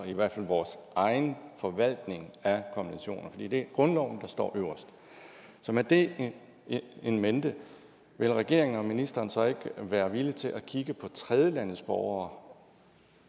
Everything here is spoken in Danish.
i hvert fald vores egen forvaltning af konventionerne for det er grundloven der står øverst så med det in mente vil regeringen og ministeren så ikke være villige til at kigge på tredjelandes borgere